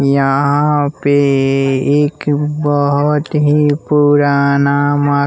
यहां पे एक बहुत ही पुराना मा--